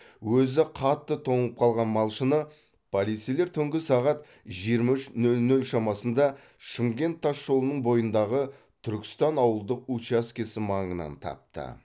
өзі қатты тоңып қалған малшыны полицейлер түнгі сағат жиырма үш нөл нөл шамасында шымкент тасжолының бойындағы түркістан ауылдық учаскесі маңынан тапты